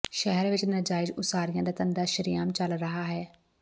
ਸ਼ਹਿਰ ਵਿੱਚ ਨਾਜਾਇਜ਼ ਉਸਾਰੀਆਂ ਦਾ ਧੰਦਾ ਸ਼ਰ੍ਹੇਆਮ ਚੱਲ ਰਿਹਾ ਹੈ